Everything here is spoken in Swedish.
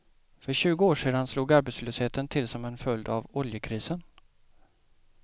För tjugo år sedan slog arbetslösheten till som en följd av oljekrisen.